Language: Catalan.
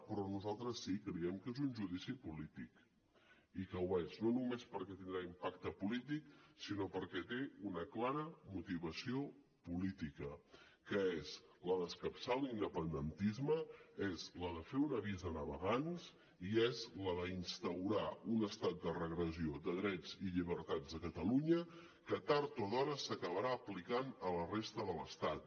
però nosaltres sí creiem que és un judici polític i que ho és no només perquè tindrà impacte polític sinó perquè té una clara motivació política que és la d’escapçar l’independentisme és la de fer un avís a navegants i és la d’instaurar un estat de regressió de drets i llibertats a catalunya que tard o d’hora s’acabarà aplicant a la resta de l’estat